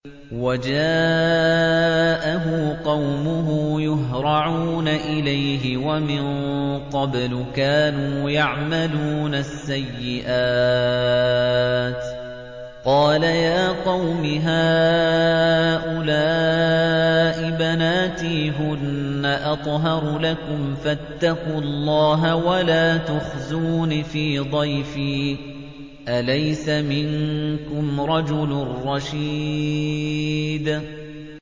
وَجَاءَهُ قَوْمُهُ يُهْرَعُونَ إِلَيْهِ وَمِن قَبْلُ كَانُوا يَعْمَلُونَ السَّيِّئَاتِ ۚ قَالَ يَا قَوْمِ هَٰؤُلَاءِ بَنَاتِي هُنَّ أَطْهَرُ لَكُمْ ۖ فَاتَّقُوا اللَّهَ وَلَا تُخْزُونِ فِي ضَيْفِي ۖ أَلَيْسَ مِنكُمْ رَجُلٌ رَّشِيدٌ